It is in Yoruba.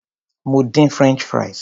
Mo dín french fries.